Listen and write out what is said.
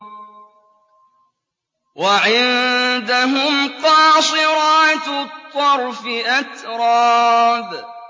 ۞ وَعِندَهُمْ قَاصِرَاتُ الطَّرْفِ أَتْرَابٌ